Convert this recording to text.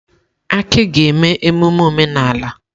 Aki ga-eme emume omenala.